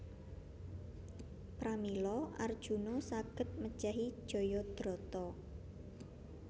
Pramila Arjuna saged mejahi Jayadrata